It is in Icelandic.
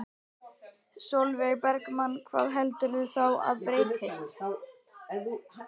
Sólveig Bergmann: Hvað heldurðu þá að breytist?